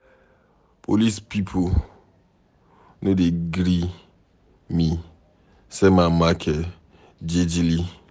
Police pipo no dey gree me sell my market jejely.